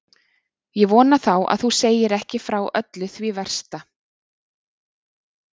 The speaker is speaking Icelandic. Ég vona þá að þú segir ekki frá öllu því versta.